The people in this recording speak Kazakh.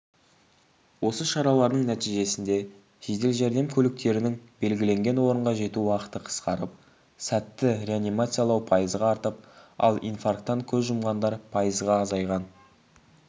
осы шаралардың нәтижесінде жедел жәрдем көліктерінің белгіленген орынға жету уақыты қысқарып сәтті реанимациялау пайызға артып ал инфарктан көз жұмғандар пайызға азайған